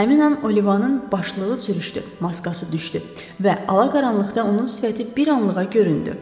Həmin an Olivanın başlığı sürüşdü, maskası düşdü və alaqaranlıqda onun sifəti bir anlığa göründü.